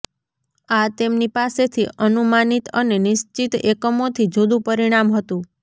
આ તેમની પાસેથી અનુમાનિત અને નિશ્ચિત એકમોથી જુદું પરિણામ હતું